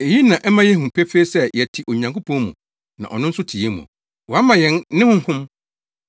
Eyi na ɛma yehu pefee sɛ yɛte Onyankopɔn mu na ɔno nso te yɛn mu. Wama yɛn ne Honhom.